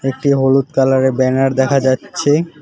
একটি হলুদ কালারের ব্যানার দেখা যাচ্ছে।